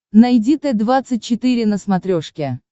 найди т двадцать четыре на смотрешке